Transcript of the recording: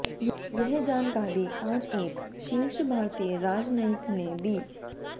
यह जानकारी आज एक शीर्ष भारतीय राजनयिक ने दी